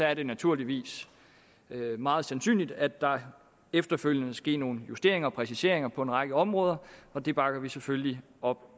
er det naturligvis meget sandsynligt at der efterfølgende vil ske nogle justeringer og præciseringer på en række områder og det bakker vi selvfølgelig op